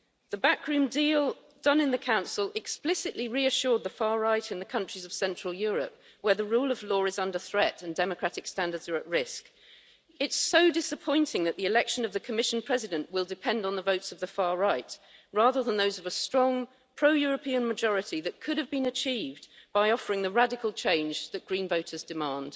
The backroom deal done in the Council explicitly reassured the far right in the countries of central Europe, where the rule of law is under threat and democratic standards are at risk. It's so disappointing that the election of the Commission President will depend on the votes of the far right, rather than those of a strong pro European majority that could have been achieved by offering the radical change that Green voters demand.